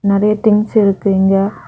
நெறைய திங்ஸ் இருக்கு இங்க.